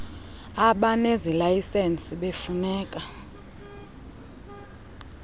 abanezi layisensi befuneka